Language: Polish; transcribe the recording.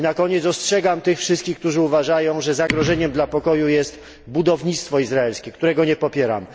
Na koniec ostrzegam tych wszystkich, którzy uważają, że zagrożeniem dla pokoju jest budownictwo izraelskie, którego nie popieram.